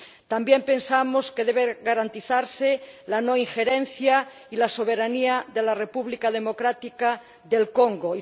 También pensamos que debe garantizarse la no injerencia y la soberanía de la República Democrática del Congo.